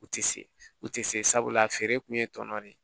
U tɛ se u tɛ se sabula a feere kun ye tɔnɔ de ye